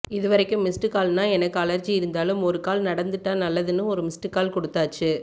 இதுவரைக்கும் மிஸ்டுகால்ன்னா எனக்கு அலர்ஜி இருந்தாலும் ஒருகால் நடந்துட்டா நல்லதுன்னு ஒருமிஸ்டுகால் கொடுத்தாச்சு